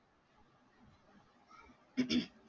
हम्म